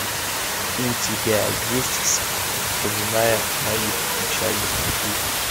у тебя есть вспоминая моих печальных шлюх